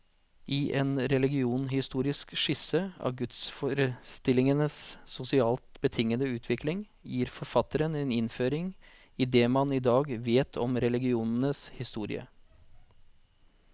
I en religionshistorisk skisse av gudsforestillingenes sosialt betingede utvikling, gir forfatteren en innføring i det man i dag vet om religionens historie.